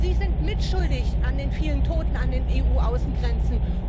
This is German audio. Sie sind mitschuldig an den vielen Toten an den EU Außengrenzen.